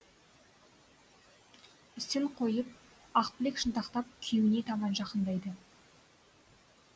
ісін қойып ақбілек шынтақтап күйеуіне таман жақыңдайды